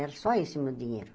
Era só isso o meu dinheiro.